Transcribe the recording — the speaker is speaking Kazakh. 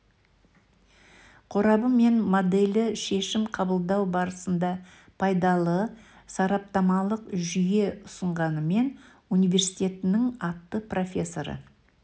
қорабы мен моделі шешім қабылдау барысында пайдалы сараптамалық жүйе ұсынғанымен университетінің атты профессоры